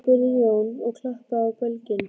spurði Jón og klappaði á belginn.